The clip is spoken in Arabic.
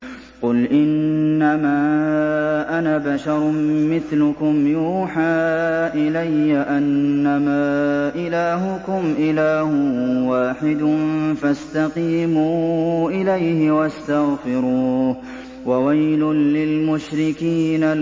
قُلْ إِنَّمَا أَنَا بَشَرٌ مِّثْلُكُمْ يُوحَىٰ إِلَيَّ أَنَّمَا إِلَٰهُكُمْ إِلَٰهٌ وَاحِدٌ فَاسْتَقِيمُوا إِلَيْهِ وَاسْتَغْفِرُوهُ ۗ وَوَيْلٌ لِّلْمُشْرِكِينَ